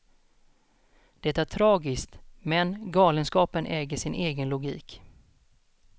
Det är tragiskt, men galenskapen äger sin egen logik.